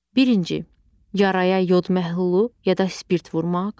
Birinci, yaraya yod məhlulu ya da spirt vurmaq.